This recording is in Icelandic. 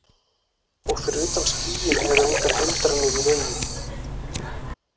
Og fyrir utan skýin eru engar hindranir í vegi.